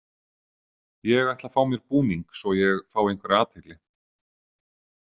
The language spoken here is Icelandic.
Ég ætla að fá mér búning svo að ég fái einhverja athygli.